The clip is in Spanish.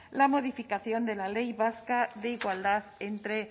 la modificación de la ley vasca de igualdad entre